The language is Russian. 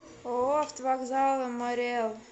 ооо автовокзалы марий эл